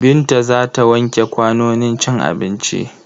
Binta za ta wanke kwanonin cin abinci.